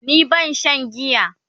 ni bana Shan giya